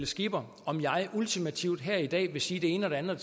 skipper om jeg ultimativt her i dag vil sige det ene og det andet og